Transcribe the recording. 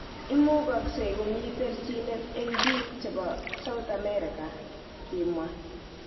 Imukaksei komii terchinet eng �liik chepo South Amerika ,kimwa